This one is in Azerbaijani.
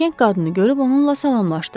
Qəşəng qadını görüb onunla salamlaşdı.